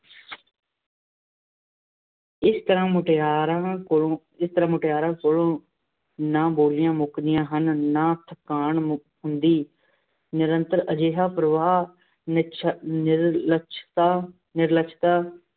ਇਸ ਤਰ੍ਹਾਂ ਮੁਟਿਆਰਾਂ ਕੋਲੋਂ ਇਸ ਤਰ੍ਹਾਂ ਮੁਟਿਅਰਾਂ ਕੋਲੋਂ ਨਾਂ ਬੋਲੀਆਂ ਮੁੱਕਦੀਆਂ ਹਨ, ਨਾਂ ਥਕਾਣ ਮੁੱਕ ਹੁੰਦੀ, ਨਿਰੰਤਰ ਅਜਿਹਾ ਪ੍ਰਵਾਹ, ਨਿਰਛੱਲ, ਨਿਰਲੱਛਤਾ, ਨਿਰਲੱਛਤਾ